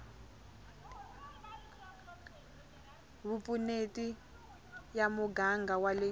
vupfuneti ya muganga wa le